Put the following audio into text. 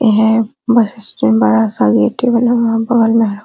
ये है bus stand बड़ा-सा गेटे बना हुआ बगल में --